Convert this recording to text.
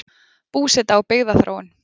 Búseta og byggðaþróun